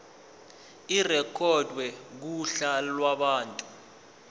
irekhodwe kuhla lwabantu